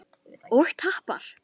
Hún roðnaði af bræði.